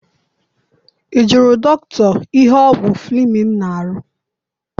I jụrụ dọkịta ihe ọgwụ Fleming na-arụ?